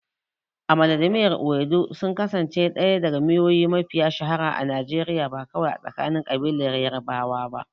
Amala da miyar ewedu sun kasance ɗaya daga miyoyi mafiya shahara a Najeriya, ba kawai a tsakanin ƙabilar Yarbawa ba.